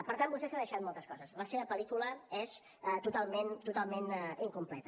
per tant vostè s’ha deixat moltes coses la seva pel·lícula és totalment incompleta